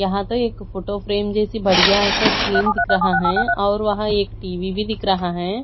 यहां पे एक फोटो फ्रेम जैसी बढ़िया सा स्क्रीन दिख रहा है और वहा एक टी_वी भी दिख रहा है।